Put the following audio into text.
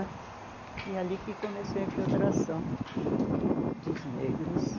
E é ali que começou a infiltração dos negros.